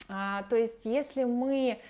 а то есть если мы